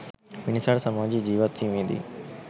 මිනිසාට සමාජයේ ජීවත් වීමේ දී